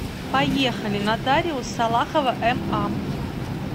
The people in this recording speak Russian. поехали нотариус салахова ма